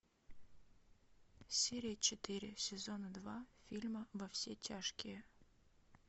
серия четыре сезона два фильма во все тяжкие